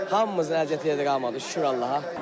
Hamımızın əziyyətini yerdə qalmadıq, şükür Allaha.